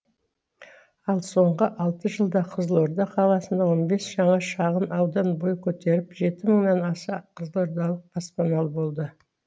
ал соңғы алты жылда қызылорда қаласында он бес жаңа шағын аудан бой көтеріп жеті мыңнан аса қызылордалық баспаналы болды